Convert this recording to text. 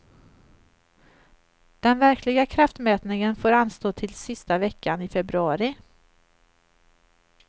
Den verkliga kraftmätningen får anstå till sista veckan i februari.